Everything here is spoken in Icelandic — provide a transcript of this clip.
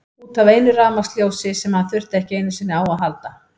Út af einu rafmagnsljósi sem hann þurfti ekki einu sinni á að halda.